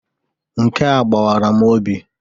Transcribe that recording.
Nke a gbawara m obi.